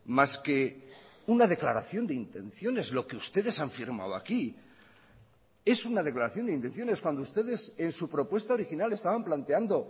más que una declaración de intenciones lo que ustedes han firmado aquí es una declaración de intenciones cuando ustedes en su propuesta original estaban planteando